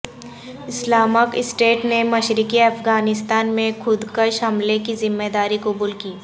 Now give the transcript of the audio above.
Islamic State نے مشرقی افغانستان میں خودکش حملے کی ذمہ داری قبول کی